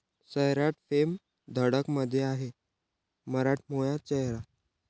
सैराट'फेम 'धडक'मध्ये आहे मराठमोळा चेहरा!